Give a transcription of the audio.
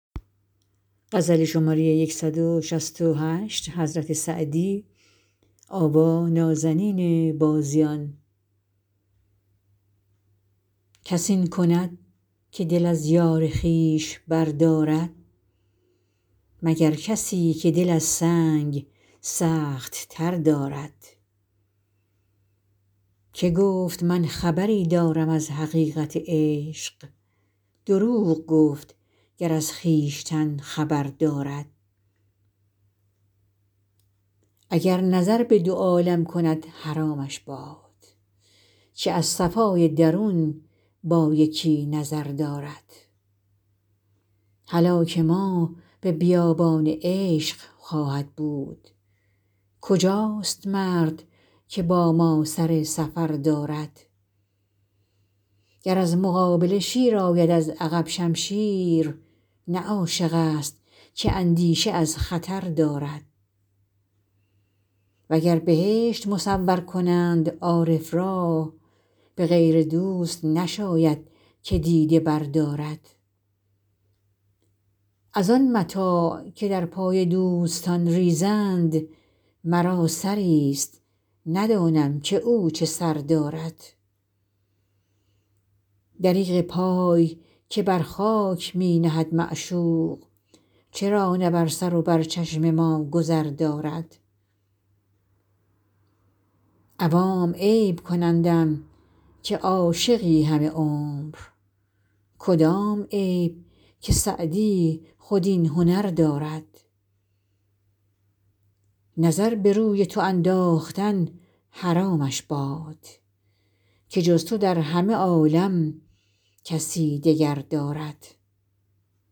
کس این کند که دل از یار خویش بردارد مگر کسی که دل از سنگ سخت تر دارد که گفت من خبری دارم از حقیقت عشق دروغ گفت گر از خویشتن خبر دارد اگر نظر به دو عالم کند حرامش باد که از صفای درون با یکی نظر دارد هلاک ما به بیابان عشق خواهد بود کجاست مرد که با ما سر سفر دارد گر از مقابله شیر آید از عقب شمشیر نه عاشق ست که اندیشه از خطر دارد و گر بهشت مصور کنند عارف را به غیر دوست نشاید که دیده بردارد از آن متاع که در پای دوستان ریزند مرا سری ست ندانم که او چه سر دارد دریغ پای که بر خاک می نهد معشوق چرا نه بر سر و بر چشم ما گذر دارد عوام عیب کنندم که عاشقی همه عمر کدام عیب که سعدی خود این هنر دارد نظر به روی تو انداختن حرامش باد که جز تو در همه عالم کسی دگر دارد